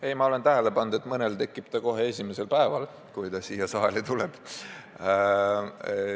Ei, ma olen tähele pannud, et mõnel tekib see kohe esimesel päeval, kui ta siia saali on tulnud.